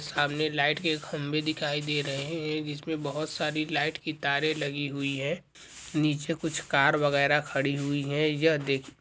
सामने लाइट के खंभे दिखाई दे रहा है जिसमे बहुत सारी लाइट की तारे लगी हुई है नीचे कुछ कार वगेरा खड़ी हुई है यह देख --